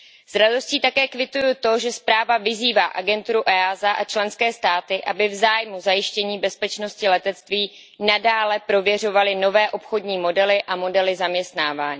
S radostí také kvituji to, že zpráva vyzývá agenturu EASA a členské státy, aby v zájmu zajištění bezpečnosti letectví nadále prověřovaly nové obchodní modely a modely zaměstnávání.